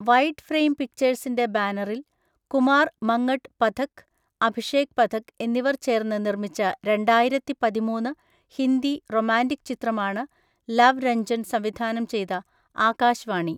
Wide frame പിക്ചേഴ്സിന്റെ ബാനറിൽ കുമാർ മങ്ങട്ട് പഥക്, അഭിഷേക് പഥക് എന്നിവർ ചേർന്ന് നിർമ്മിച്ച രണ്ടായിരത്തിപതിമൂന്ന് ഹിന്ദി റൊമാന്റിക് ചിത്രമാണ് ലവ് രഞ്ജൻ സംവിധാനം ചെയ്ത ആകാശ് വാണി.